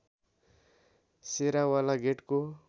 शेराँवाला गेटको